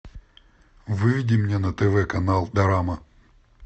выведи мне на тв канал дорама